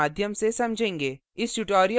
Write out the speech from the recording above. हम इसे एक उदाहरण के माध्यम से समझेंगे